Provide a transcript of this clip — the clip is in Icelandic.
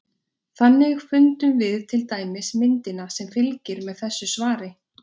Þannig fundum við til dæmis myndina sem fylgir með þessu svari.